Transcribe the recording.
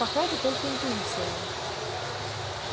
пока это только интуиция